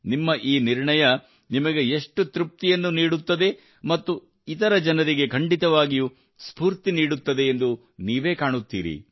ನಿಮ್ಮ ಈ ನಿರ್ಣಯವು ನಿಮಗೆ ಎಷ್ಟು ತೃಪ್ತಿಯನ್ನು ನೀಡುತ್ತದೆ ಮತ್ತು ಇತರ ಜನರಿಗೆ ಖಂಡಿತವಾಗಿಯೂ ಸ್ಫೂರ್ತಿ ನೀಡುತ್ತದೆ ಎಂದು ನೀವೇ ಕಾಣುತ್ತೀರಿ